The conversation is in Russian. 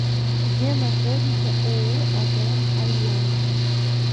где находится ооо атм альянс